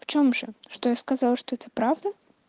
в чём же что я сказал что это правда